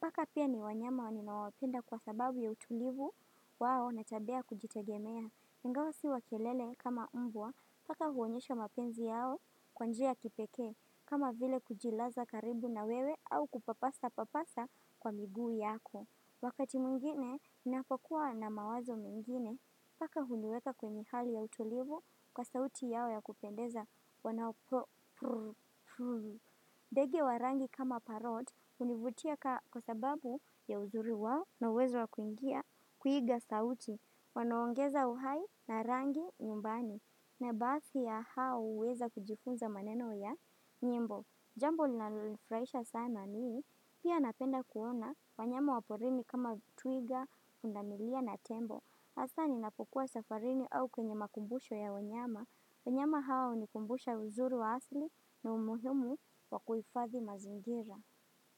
Paka pia ni wanyama wa ninao wapenda kwa sababu ya utulivu wao na tabia ya kujitegemea. Ingawa si wa kelele kama mbwa paka huonyesha mapenzi yao kwa njia kipekee kama vile kujilaza karibu na wewe au kupapasa papasa kwa miguu yako. Wakati mwngine, ninapokuwa na mawazo mengine paka huniweka kwenye hali ya utulivu kwa sauti yao ya kupendeza wanao prr prr prr. Ndege wa rangi kama paroti hunivutia kwa sababu ya uzuri wao na uwezo wa kuiga kuiga sauti, wanaongeza uhai na rangi nyumbani, na baadhi ya hao huweza kujifunza maneno ya nyimbo. Jambo linalonifurahisha sana ni, pia napenda kuona wanyama wa porini kama twiga, pundamilia na tembo. Hasa ninapokuwa safarini au kwenye makumbusho ya wanyama, wanyama hawa hunikumbusha uzuri wa asili na umuhimu wakuhifadhi mazingira.